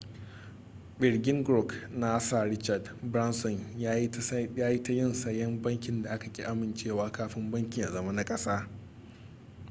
ɓirgin grouƙ na sir richard branson ya yi tayin sayen bankin da aka ƙi amincewa kafin bankin ya zama na kasa